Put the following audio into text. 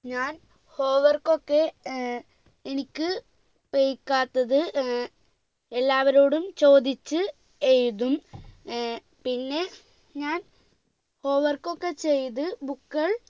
ഞാൻ home work ഒക്കെ ഏർ എനിക്ക് പൈക്കാത്തത് ഏർ എല്ലാവരോടും ചോദിച്ച് എഴുതും ഏർ പിന്നെ ഞാൻ home work ഒക്കെ ചെയ്ത് book